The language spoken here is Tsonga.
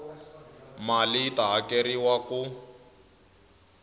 mali yi ta hakeriwa ku